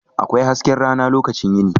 Akwai hasken rana lokacin yini.